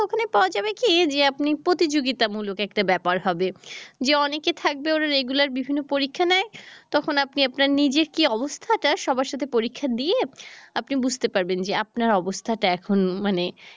ওখানে পাওয়া যাবে কি যে আপনি প্রতিযোগিতামূলক একটা ব্যাপার হবে যে অনেকে থাকবে ওরা regular বিভিন্ন পরীক্ষা নেয় তখন আপনি আপনার নিজের কি অবস্থা টা সবার সাথে পরীক্ষা দিয়ে আপনি বুঝতে পারবেন যে আপনার অবস্থা টা এখন মানে